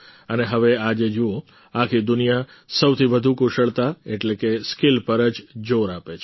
અને હવે આજે જુઓ આખી દુનિયા સૌથી વધારે કુશળતા એટલે કે સ્કિલ પર જ જોર આપે છે